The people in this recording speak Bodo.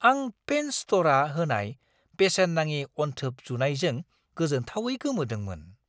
आं पेन स्ट'रआ होनाय बेसेन-नाङि अनथोब जुनायजों गोजोनथावै गोमोदोंमोन!